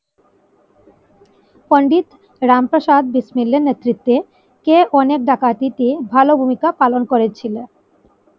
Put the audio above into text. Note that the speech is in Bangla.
পন্ডিত রামপ্রসাদ বিসমিল্লার নেতৃত্বে কেউ অনেক ডাকাতিতে ভালো ভূমিকা পালন করে ছিল?